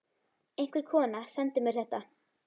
Einhver kona sendi mér þetta.